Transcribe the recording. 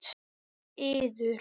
Með yður!